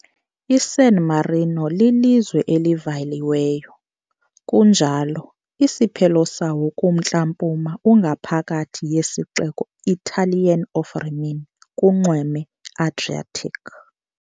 ISan Marino lilizwe elivaliweyo, kunjalo, isiphelo sawo kumntla-mpuma ungaphakathi yesixeko Italian of Rimini kunxweme Adriatic.